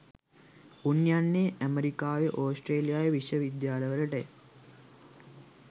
උන් යන්නේ ඇමරිකාවේ ඕස්ට්‍රේලියාවේ විශ්ව විද්‍යාලවලටය